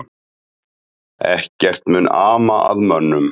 Ekkert mun ama að mönnunum